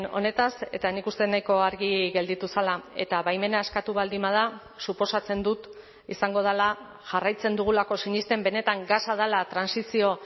honetaz eta nik uste nahiko argi gelditu zela eta baimena eskatu baldin bada suposatzen dut izango dela jarraitzen dugulako sinesten benetan gasa dela trantsizio